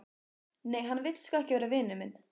Nei, hann vill sko ekki vera vinur minn.